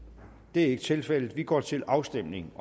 det er ikke tilfældet vi går til afstemning